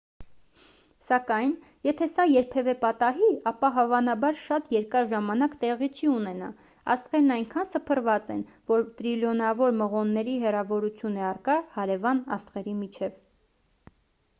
սակայն եթե սա երբևէ պատահի ապա հավանաբար շատ երկար ժամանակ տեղի չի ունենա աստղերն այնքան սփռված են որ տրիլիոնավոր մղոնների հեռավորություն է առկա հարևան աստղերի միջև